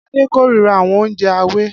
Ade kórira àwọn oúnjẹ ààwẹ̀